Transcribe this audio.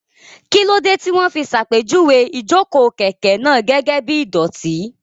Kí ló dé tí wọ́n fi ṣàpèjúwe ìjókòó kẹ̀kẹ́ náà gẹ́gẹ́ bí ìdọ̀tí?